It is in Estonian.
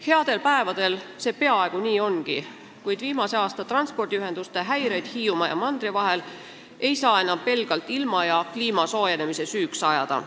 Headel päevadel see peaaegu nii ongi, kuid viimase aasta transpordihäireid Hiiumaa ja mandri vahelises ühenduses ei saa enam pelgalt ilma ja kliima soojenemise süüks ajada.